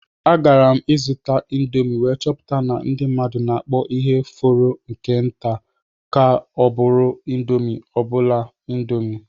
Agara m ịzụta indomi wee chọpụta na ndị mmadụ na-akpọ ihe fọrọ nke nta ka ọ bụrụ indomi obula indomi.